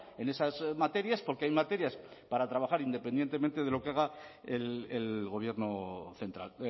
en esas materias porque hay materias para trabajar independientemente de lo que haga el gobierno central